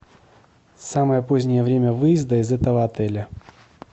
самое позднее время выезда из этого отеля